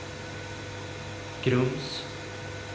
Grums